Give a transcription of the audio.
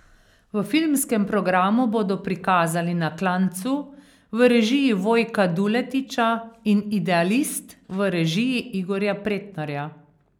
V filmskem programu bodo prikazali Na klancu v režiji Vojka Duletiča in Idealist v režiji Igorja Pretnarja.